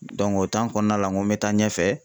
o kɔnɔna la ,n ko n bɛ taa ɲɛfɛ.